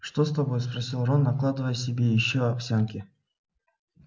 что с тобой спросил рон накладывая себе ещё овсянки